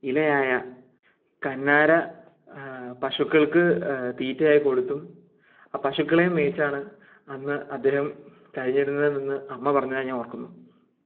ഇലയായ കന്നര ആഹ് പശുക്കൾക്ക് ഹ്... തീറ്റയായി കൊടുത്തും ആ പശുക്കളെയും മെച്ചാണ് അന്ന് കഴിഞ്ഞിരുന്നതിൽ നിന്ന് അമ്മ അമ്മ പറഞ്ഞതായി ഞാൻ ഓർക്കുന്നു